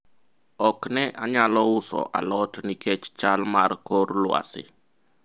ok ne anyalo uso alot nikech chal mar kor lwasi